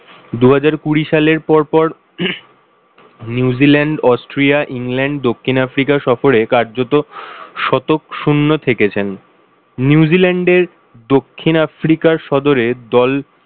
দুহাজার কুড়ি সালে পরপর নিউজিল্যান্ড, অস্ট্রিয়া, ইংল্যান্ড, দক্ষিণ-আফ্রিকা সফরে কার্যত শতক শূন্য থেকেছেন। নিউজিল্যান্ডের দক্ষিন-আফ্রিকা সদরের দল